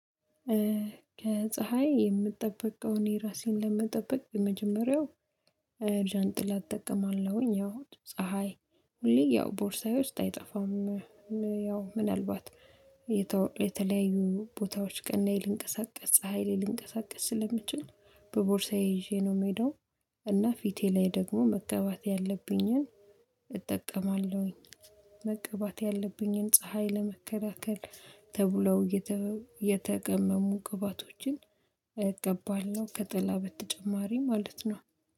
ከፀሀይ የምጠበቀውን የራሴን ለመጠበቅ የመጀመሪያው ዣንጥላ እጠቀማለሁኝ። ያው ፀሀይ ሁሌ ያው ቦርሳዬ ውስጥ አይጠፋም። ያው ምናልባት የተለያዩ ቦታዎች ቀን ላይ ልንቀሳቀስ ፀሀይ ላይ ልንቀሳቀስ ስለምችል በቦርሳዬ ይዤ ነው የምሄደው። እና ፊቴ ላይ ደግሞ መቀባት ያለብኝን እጠቀማለሁኝ። መቀባት ያለብኝን ፀሀይ ለመከላከል ተብለው የተቀመሙ ግባቶችን እቀባለሁ ከጥላ በተጨማሪ ማለት ነው